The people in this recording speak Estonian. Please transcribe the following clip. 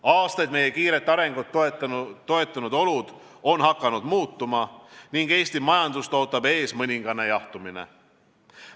Aastaid meie kiiret arengut toetanud olud on hakanud muutuma ning Eesti majandust ootab ees mõningane jahtumine.